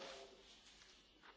Panie Przewodniczący!